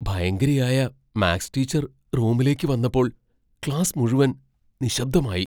ഭയങ്കരിയായ maths teacher റൂമിലേക്ക് വന്നപ്പോൾ class മുഴുവൻ നിശ്ശബ്ദമായി.